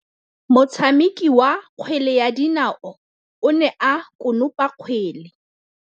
Motshameki wa kgwele ya dinaô o ne a konopa kgwele.